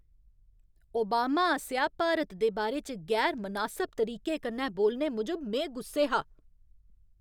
Obama आसेआ भारत दे बारे च गैर मनासब तरीके कन्नै बोलने मूजब में गुस्से हा।